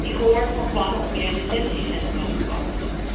Ik hoor van plannen om meer detentiecentra te bouwen.